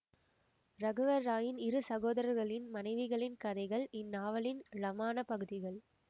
ரகுவர் ராய்யின் இரு சகோதரர்களின் மனைவிகளின் கதைகள் இந்நாவலின் ழமான பகுதிகள்